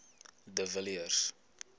de villiers